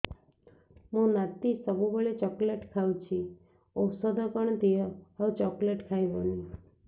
ମୋ ନାତି ସବୁବେଳେ ଚକଲେଟ ଖାଉଛି ଔଷଧ କଣ ଦିଅ ଆଉ ଚକଲେଟ ଖାଇବନି